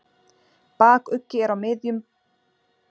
Bakuggi er á miðum bol, þó nær trjónu en sporði, en raufaruggi er aftar.